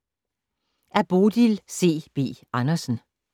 Af Bodil C. B. Andersen